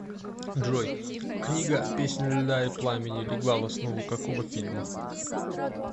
джой книга песнь льда и пламени легла в основу какого фильма